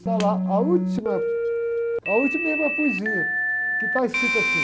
Está lá a última, a última é minha poesia, que está escrita assim.